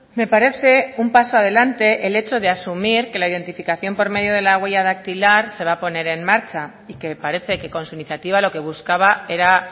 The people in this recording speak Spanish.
me parece un paso adelante el hecho de asumir que la identificación por medio de la huella dactilar se va a poner en marcha y que parece que con su iniciativa lo que buscaba era